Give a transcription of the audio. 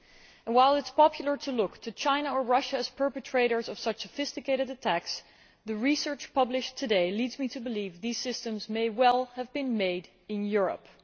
And while it is popular to look to China or Russia as perpetrators of such sophisticated attacks, the research published today leads me to believe these systems may well have been made in Europe.